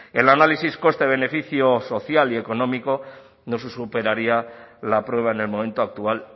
el análisis coste beneficio social y económico no se superaría la prueba en el momento actual